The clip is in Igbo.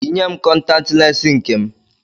Yinye m, kọntatị lensi nke m